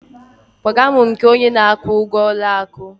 kpọga m nke onye na-akwụ ụgwọ ụlọ akụ!